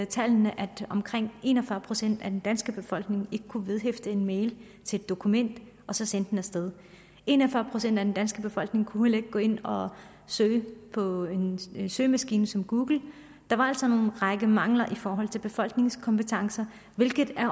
tallene at omkring en og fyrre procent af den danske befolkning ikke kunne vedhæfte en mail til et dokument og så sende den af sted en og fyrre procent af den danske befolkning kunne heller ikke gå ind og søge på en søgemaskine som google der var altså en række mangler i forhold til befolkningens kompetencer hvilket